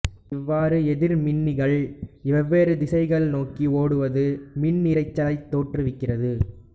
இவ்வாறு எதிர்மின்னிகள் வெவ்வேறு திசைகளை நோக்கி ஓடுவது மின்னிரைச்சலைத் தோற்றுவிக்கிறது